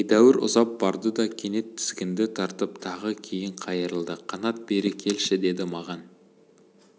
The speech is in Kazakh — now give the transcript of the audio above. едәуір ұзап барды да кенет тізгінді тартып тағы кейін қайырылды қанат бері келші деді маған